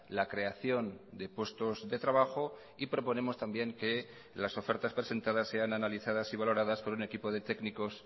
la creación de puestos de trabajo y proponemos también que las ofertas presentadas sean analizadas y valoradas por un equipo de técnicos